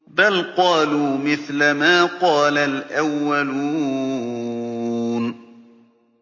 بَلْ قَالُوا مِثْلَ مَا قَالَ الْأَوَّلُونَ